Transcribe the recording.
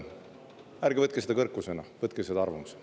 Ärge võtke seda kõrkusena, võtke seda arvamusena.